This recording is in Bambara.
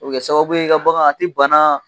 O bɛ kɛ sababu ye e ka bangan a tɛ bana.